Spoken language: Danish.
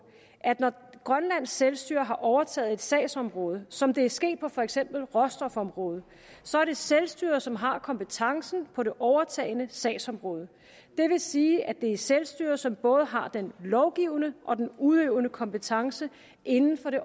at når grønlands selvstyre har overtaget et sagsområde som det er sket på for eksempel råstofområdet så er det selvstyret som har kompetencen på det overtagne sagsområde det vil sige at det er selvstyret som både har den lovgivende og den udøvende kompetence inden for det